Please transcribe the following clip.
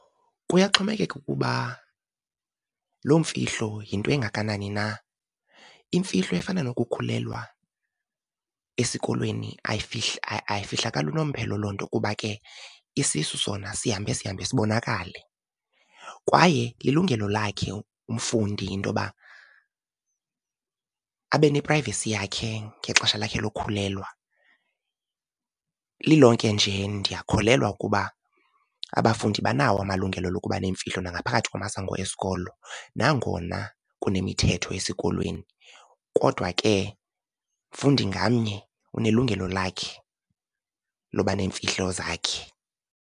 Kuyaxhomekeka ukuba loo mfihlo yinto engakanani na. Imfihlo efana nokukhulelwa esikolweni ayifihlakali unomphelo loo nto kuba ke isisu sona sihambe sihambe sibonakale kwaye lilungelo lakhe umfundi into yoba abe ne-privacy yakhe ngexesha lakhe lokhulelwa. Lilonke nje ndiyakholelwa ukuba abafundi banawo amalungelo lokuba neemfihlo nangaphakathi kumasango esikolo nangona kunemithetho esikolweni, kodwa ke mfundi ngamnye unelungelo lakhe loba neemfihlo zakhe.